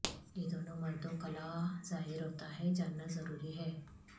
یہ دونوں مردوں قلاع ظاہر ہوتا ہے جاننا ضروری ہے